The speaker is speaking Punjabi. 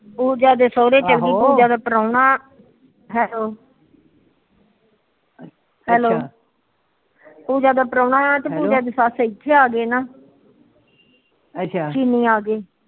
ਪੂਜਾ ਦੇ ਸੋਹਰੇ ਚੱਲ ਗੇ ਪੂਜਾ ਦਾ ਪਰਾਹੁਣਾ ਹੈਲੋ ਹੈਲੋ ਪੂਜਾ ਦਾ ਪਰਾਹੁਣਾ ਤੇ ਪੂਜਾ ਦੀ ਸੱਸ ਇਥੇ ਆਗੀ ਨਾ ਅੱਛਾ